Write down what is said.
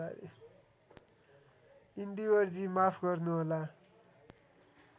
इन्दिवरजी माफ गर्नुहोला